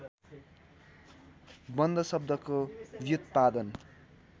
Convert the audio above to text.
बन्ध शब्दको व्युत्पादन